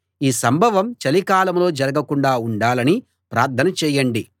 ఈ సంభవం చలికాలంలో జరగకుండా ఉండాలని ప్రార్థన చేయండి